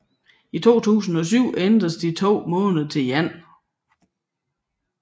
I 2007 ændredes de to måneder til én